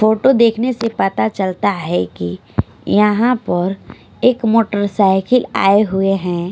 Photo देखने से पता चलता है कि यहां पर एक मोटरसाइकिल आए हुए हैं।